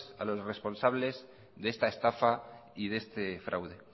a los responsables de esta estafa y de este fraude